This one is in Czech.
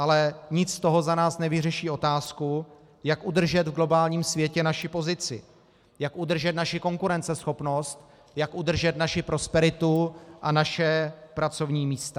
Ale nic z toho za nás nevyřeší otázku, jak udržet v globálním světě naši pozici, jak udržet naši konkurenceschopnost, jak udržet naši prosperitu a naše pracovní místa.